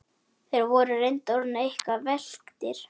Þeir voru reyndar orðnir eitthvað velktir.